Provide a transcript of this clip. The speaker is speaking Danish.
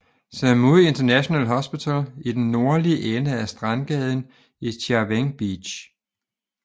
Samui International Hospital i den nordlige ende af strandgaden i Chaweng Beach